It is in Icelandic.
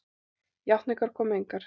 Játningar komu engar.